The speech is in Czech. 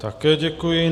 Také děkuji.